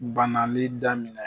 Banali daminɛ